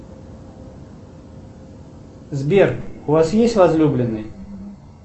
сбер у вас есть возлюбленный